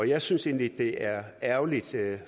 jeg synes egentlig at det er ærgerligt